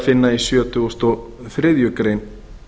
finna í sjötugasta og þriðju grein